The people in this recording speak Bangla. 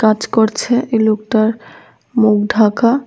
কাজ করছে এই লোকটার মুখ ঢাকা।